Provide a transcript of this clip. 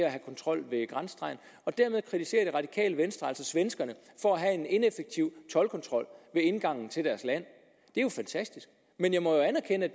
at have kontrol ved grænsestregen dermed kritiserer det radikale venstre altså svenskerne for at have en ineffektiv toldkontrol ved indgangen til deres land det er jo fantastisk men jeg må anerkende